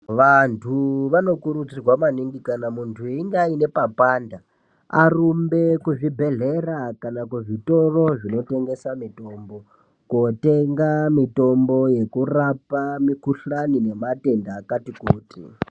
Vanhu vanokurudzirwa maningi kana muntu ainge ane papanda arumbe kuzvibhehlera kana kuzvitoro zvinotengesa mitombo kotenga mitombo yekurapa mikhuhlani nematenda akati kuti.